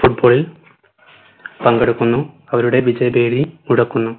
football ൽ പങ്കെടുക്കുന്നു അവരുടെ വിജയപെരി മുടക്കുന്നു